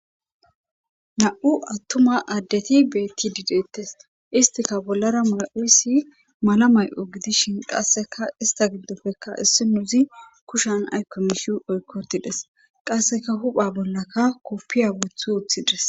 na7u attuma addeti beetti dideettes istika bollara mula7uysi mala may7o gidishin qasseka ista giddofekka issi nozi kushan aykko mishi oykkotides qasseka hupha bollaka koppiya wuthi woththides